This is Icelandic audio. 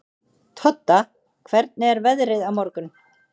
Todda, hvernig er veðrið á morgun?